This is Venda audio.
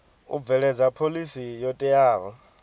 u bveledza phoḽisi yo teaho